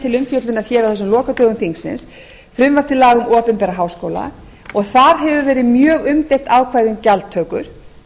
til umfjöllunar hér á þessum lokadögum þingsins frumvarp til laga um opinbera háskóla og þar hefur verið mjög umdeilt ákvæði um gjaldtöku